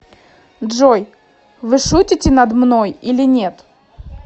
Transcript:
джой вы шутите над мной или нет